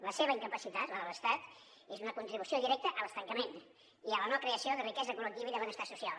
la seva incapacitat la de l’estat és una contribució directa a l’estancament i a la no creació de riquesa col·lectiva i de benestar social